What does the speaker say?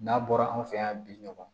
N'a bɔra an fɛ yan bi ɲɔgɔn